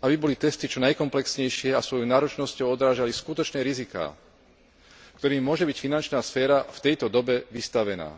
aby boli testy čo najkomplexnejšie a svojou náročnosťou odrážali skutočné riziká, ktorým môže byť finančná sféra v tejto dobe vystavená.